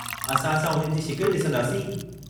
असां छा उन्हनि जी शिकिल डिसंदासीं?